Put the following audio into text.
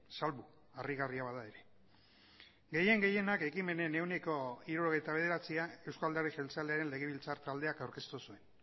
salbu harrigarria bada ere gehien gehienak ekimenen ehuneko hirurogeita bederatzia euzko alderdi jeltzalearen legebiltzar taldeak aurkeztu zuen